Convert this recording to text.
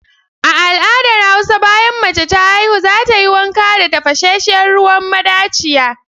A al'adar hausa, bayan mace ta haihu za ta yi wanka da tafashenshen ruwan madachiya.